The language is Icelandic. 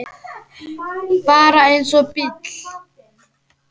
Bara eins og bíll.